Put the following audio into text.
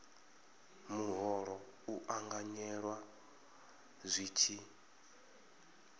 muholo u ṱanganyelwa zwi tshi